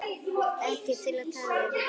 Ekki til að tala um.